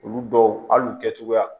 Olu dɔw hali u kɛcogoya